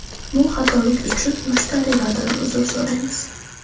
Bu xatolik uchun mushtariylardan uzr so‘raymiz.